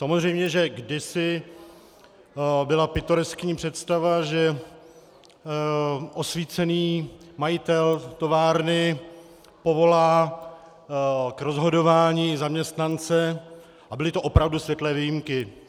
Samozřejmě že kdysi byla pitoreskní představa, že osvícený majitel továrny povolá k rozhodování zaměstnance, a byly to opravdu světlé výjimky.